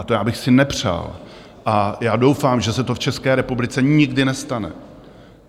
A to já bych si nepřál a já doufám, že se to v České republice nikdy nestane.